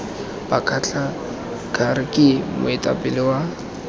bakgatla kgr ke moetapele wa